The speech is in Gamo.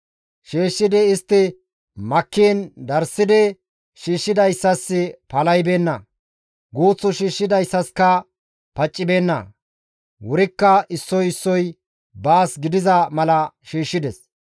Shiishshidi istti makkiin darssidi shiishshidayssas palahibeenna; guuth shiishshidayssaska paccibeenna; wurikka issoy issoy baas gidiza mala shiishshides.